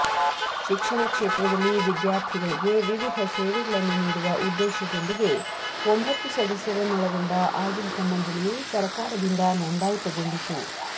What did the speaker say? ಶಿಕ್ಷಣ ಕ್ಷೇತ್ರದಲ್ಲಿ ವಿದ್ಯಾರ್ಥಿಗಳಿಗೆ ವಿವಿಧ ಸೇವೆಗಳನ್ನು ನೀಡುವ ಉದ್ದೇಶ ದೊಂದಿಗೆ ಒಂಭತ್ತು ಸದಸ್ಯರನ್ನೊಳಗೊಂಡ ಆಡಳಿತ ಮಂಡಳಿಯು ಸರಕಾರದಿಂದ ನೋಂದಾಯಿತಗೊಂಡಿತು